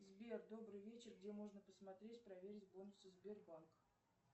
сбер добрый вечер где можно посмотреть проверить бонусы сбербанк